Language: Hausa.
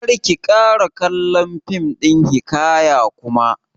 Kar ki ƙara kallon fim ɗin hiƙaya kuma!